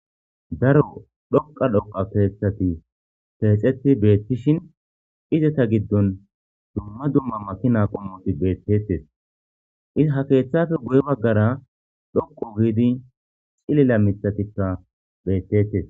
daro dhoqa dhoqa keethati teexeti beettishin izata giddon dumma dumma makina qommoti beettetes iza ha keeththafe guy baggara dhoqu giidi cilila mithatikka beettettes